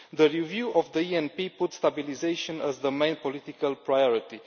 The review of the ENP puts stabilisation as the main political priority.